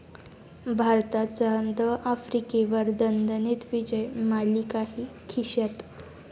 भारताचा द.आफ्रिकेवर दणदणीत विजय, मालिकाही खिश्यात